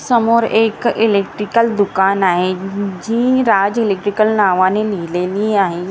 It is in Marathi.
समोर एक इलेक्ट्रिकल दुकान आहे उ जी राज इलेक्ट्रिकल नावाने लिहिलेली आहे.